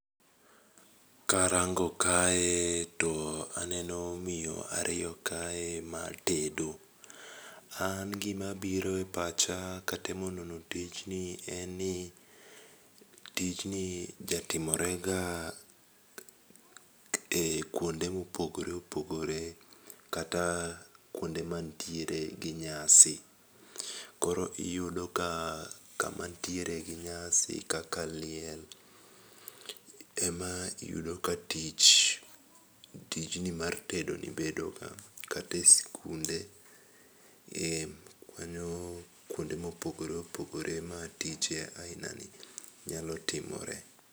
Karango kae to aneno miyo ariyo kae ma tedo, an gimabiro e pacha katemo nono tijni en ni tijni jatimorega e kwonde mopogore opogore kata kwonde mantiere gi nyasi. Koro iyudoka kama ntiere gi nyasi kaka liel, ema iyudo ka tijni mar tedoni bedo kata e skunde, mano kounde mopogore opogore ma tije aina ni nyalo timore.